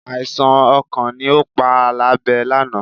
Àìsàn ọkàn ni ó pa Àlàbé lánàá